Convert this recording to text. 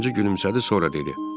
Zənci gülümsədi, sonra dedi: